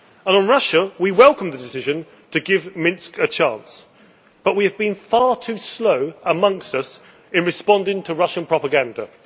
On Russia, we welcome the decision to give Minsk a chance but we have been far too slow amongst us in responding to Russian propaganda.